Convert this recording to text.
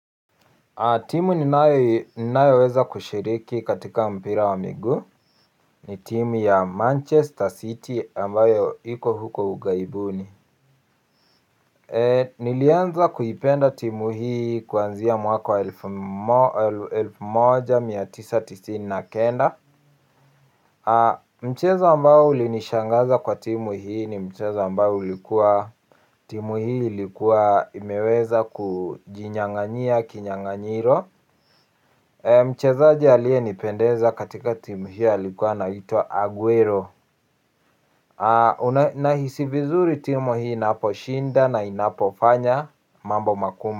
Timu ninayoweza kushiriki katika mpira wa miguu. Ni timu ya Manchester City ambayo iko huko ughaibuni. Nilianza kuipenda timu hii kuanzia mwaka wa elfu moja mia tisa tisini na kenda. Mchezo ambao ulinishangaza kwa timu hii ni mchezo ambao ulikuwa timu hii ilikuwa imeweza kujinyanganyia kinyanganyiro. Mchezaji aliyenipendeza katika timu hii alikuwa anaitwa Aguero. Nahisi vizuri timu hii inaposhinda na inapofanya mambo mambo magu.